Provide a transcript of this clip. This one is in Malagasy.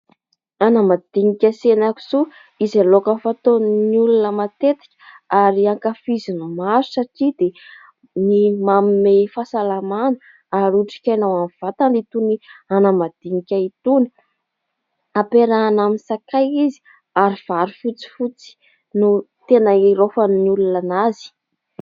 Anamadinika sy hena kisoa izay laoka fataon'ny olona matetika ary ankafizin'ny maro satria dia ny manome fasalamana ary otrikaina ho an'ny vatana. Itony anamadinika itony ampiarahina amin'ny sakay izy ary varo fotsifotsy no tena hiraofanayy olonana azy